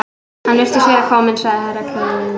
Hann virðist vera kominn, sagði Herra Kláus.